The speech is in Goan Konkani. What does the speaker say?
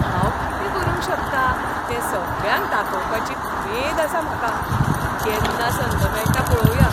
हांव कितें करूंक शकता तें सगळ्यांक दाखोवपाची उमेद आसा म्हाका. केन्ना संद मेळटा पळोवया.